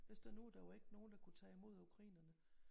Hvis der nu der var ikke nogen der kunne tage imod ukrainerne